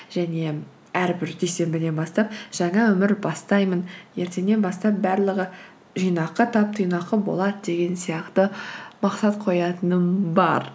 және әрбір дүйсенбіден бастап жаңа өмір бастаймын ертеңнен бастап барлығы жинақы тап тыйнақы болады деген сияқты мақсат қоятыным бар